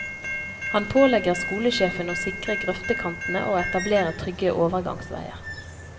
Han pålegger skolesjefen å sikre grøftekantene og etablere trygge overgangsveier.